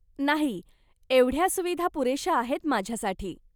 नाही, एवढ्या सुविधा पुरेशा आहेत माझ्यासाठी.